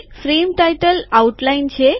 frame શીર્ષક રૂપરેખા છે